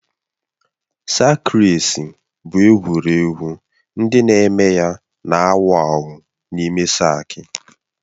Sak reci bụ egwuregwu ndị na-eme ya na-awụ awụ n'ime saki